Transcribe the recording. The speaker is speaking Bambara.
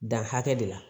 Dan hakɛ de la